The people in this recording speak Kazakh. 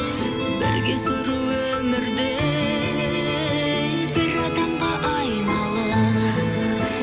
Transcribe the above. бірге сүру өмірді ей бір адамға айналып